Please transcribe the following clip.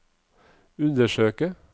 undersøke